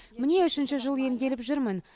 міне үшінші жыл емделіп жүрмін